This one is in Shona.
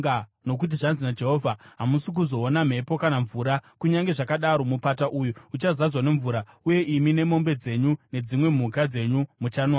Nokuti zvanzi naJehovha: Hamusi kuzoona mhepo kana mvura, kunyange zvakadaro, mupata uyu uchazadzwa nemvura, uye imi, nemombe dzenyu nedzimwe mhuka dzenyu muchanwamo.